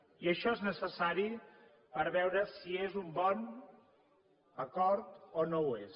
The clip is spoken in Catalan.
i això és necessari per veure si és un bon acord o no ho és